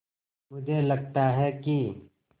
मुझे लगता है कि